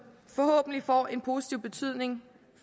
forhåbentlig får en positiv betydning